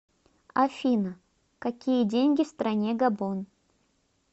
афина какие деньги в стране габон